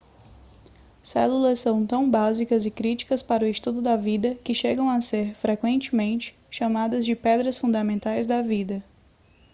células são tão básicas e críticas para o estudo da vida que chegam a ser frequentemente chamadas de pedras fundamentais da vida